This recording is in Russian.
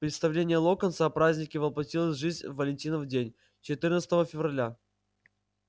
представление локонса о празднике воплотилось в жизнь в валентинов день четырнадцатого февраля